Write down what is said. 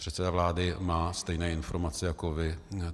Předseda vlády má stejné informace jako vy.